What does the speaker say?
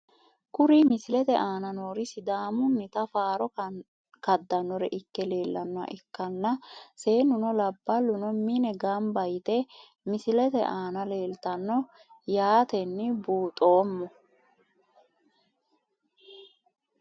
Kuri misilete aana noori sidaamunita faaro kadanore ikke leelanoha ikanna seenuno laballuno miyeeni ganba yite misilete aana leeltano yaateni buuxomo.